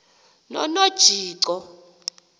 nonojico